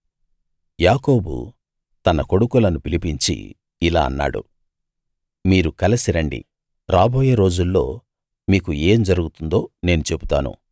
యాకోబు తన కొడుకులను పిలిపించి ఇలా అన్నాడు మీరు కలిసి రండి రాబోయే రోజుల్లో మీకు ఏం జరుగుతుందో నేను చెబుతాను